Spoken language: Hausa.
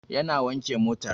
Yana wanke motar